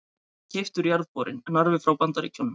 Keyptur jarðborinn Narfi frá Bandaríkjunum.